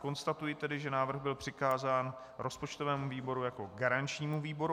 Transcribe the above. Konstatuji tedy, že návrh byl přikázán rozpočtovému výboru jako garančnímu výboru.